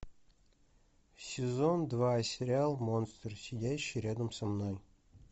сезон два сериал монстр сидящий рядом со мной